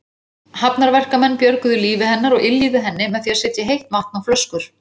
Hafnarverkamenn björguðu lífi hennar og yljuðu henni með því að setja heitt vatn á flöskur.